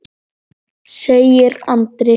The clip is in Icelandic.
segir Andri.